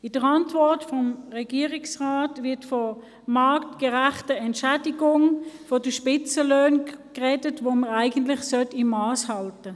In der Antwort des Regierungsrats wird von marktgerechter Entschädigung bei den Spitzenlöhnen gesprochen, bei denen man eigentlich Mass halten sollte.